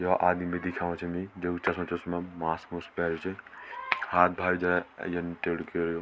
यौ आदिम दिखेणु छनी जेक चस्मा चुस्मा मास्क मुस्क पैर्यू च हाथ भर जे यन टेडू कर्यु।